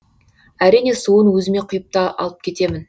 әрине суын өзіме құйып та алып кетемін